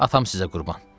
Atam sizə qurban.